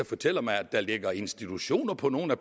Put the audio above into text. fortæller mig at der ligger institutioner på nogle af